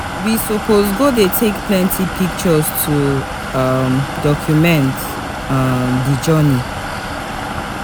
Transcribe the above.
We suppose go dey take plenty pictures to um document um di journey.